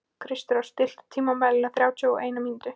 Kristrós, stilltu tímamælinn á þrjátíu og eina mínútur.